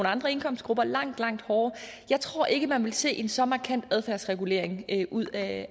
andre indkomstgrupper langt langt hårdere jeg tror ikke man vil se en så markant adfærdsregulering ud af